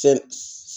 Fɛn